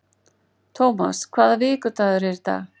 Thomas, hvaða vikudagur er í dag?